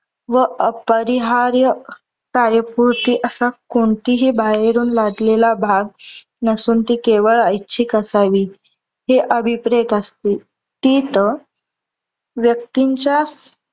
व अपरिहार्य कार्यपूर्ती असा कोणतीही बाहेरून लादलेला भाग नसून ती केवळ ऐच्छिक असावी. हे अभिप्रेत असते. तिथं व्यक्तींच्या